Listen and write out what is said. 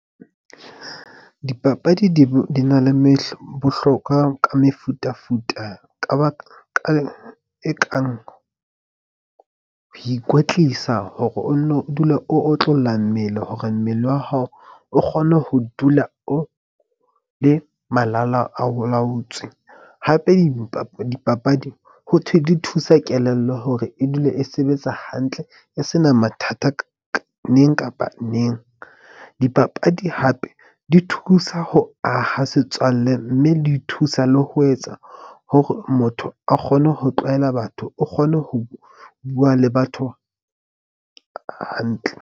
Dipapadi di na le bohlokwa ka mefutafuta ka ba ka e kang ho ikwetlisa hore o nno o dule o otlolla mmele hore mmele wa hao o kgone ho dula o le malala a laotswe. Hape dipapadi ho thwe di thusa kelello hore e dule e sebetsa hantle. E sena mathata neng kapa neng. Dipapadi hape di thusa ho aha setswalle. Mme di thusa le ho etsa hore motho a kgone ho tlwaela batho o kgone ho bua le batho hantle.